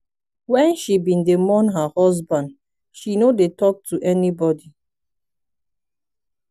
wen she bin dey mourn her husband she no dey talk to anybody.